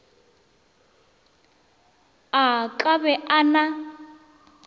a ka be a na